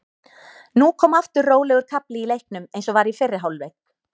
Nú kom aftur rólegur kafli í leiknum eins og var í fyrri hálfleik.